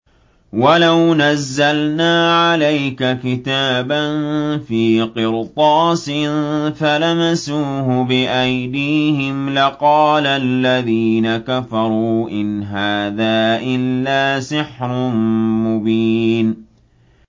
وَلَوْ نَزَّلْنَا عَلَيْكَ كِتَابًا فِي قِرْطَاسٍ فَلَمَسُوهُ بِأَيْدِيهِمْ لَقَالَ الَّذِينَ كَفَرُوا إِنْ هَٰذَا إِلَّا سِحْرٌ مُّبِينٌ